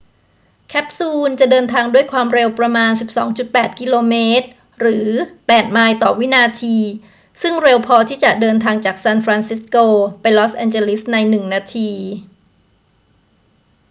แคปซูลจะเดินทางด้วยควาวมเร็วประมาณ 12.8 กม. หรือ 8 ไมล์ ต่อวินาที ซึ่งเร็วพอที่จะเดินทางจากซานฟรานซิสโกไปลอสแอนเจลิสในหนึ่งนาที